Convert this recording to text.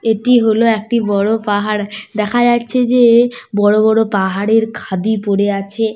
এটি হলো একটি বড় পাহাড়। দেখা যাচ্ছে যে বড় বড় পাহাড়ের খাদি পড়ে আছে।